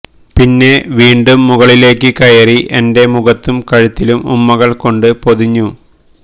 പിന്നെ വീണ്ടും മുകളിലേക്ക് കയറി എന്റെ മുഖത്തും കഴുത്തിലും ഉമ്മകള് കൊണ്ട് പൊതിഞ്ഞു